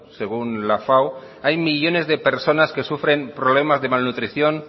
según la fao hay millónes de personas que sufren problemas de malnutrición